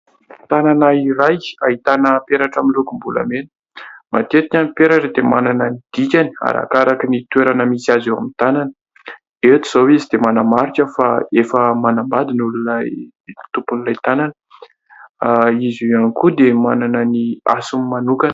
Tanana iray ahitana peratra amin'ny lokom-bolamena. Matetika ny peratra dia manana ny dikany, arakaraka ny toerana misy azy eo amin'ny tanana. Eto izao izy dia manamarika fa efa manambady ny olona tompon'ilay tanana. Izy ihany koa dia manana ny hasiny manokana.